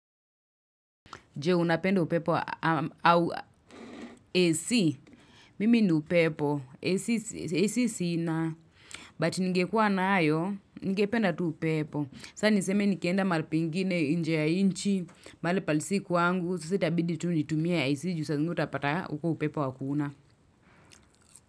Je unapenda upepo au AC. Mimi ni upepo. AC si na. But ninge kuwa nayo, ningependa tu upepo. Saa niseme nikienda mahali pengine nje ya nchi, mahali pahali si kwangu. Sasa itabidi tu nitumie AC juu saa zingine utapata uko upepo hakuna.